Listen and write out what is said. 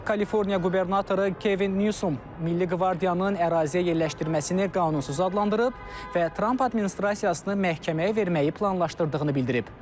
Kaliforniya qubernatoru Kevin Nüsum milli qvardiyanın əraziyə yerləşdirməsini qanunsuz adlandırıb və Tramp administrasiyasını məhkəməyə verməyi planlaşdırdığını bildirib.